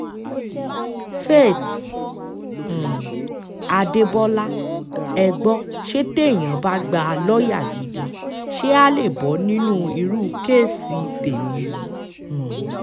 faith um adébọlá ẹ gbọ́ ṣe téèyàn bá gbà lọ́ọ́yà gidi ṣé àá lè bọ́ nínú irú kèèṣì tẹ̀mí yìí um